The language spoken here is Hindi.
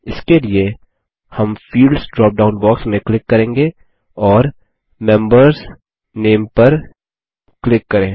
इसके लिए हम फील्ड्स ड्रॉप डाउन बॉक्स में क्लिक करेंगे और membersनामे पर क्लिक करे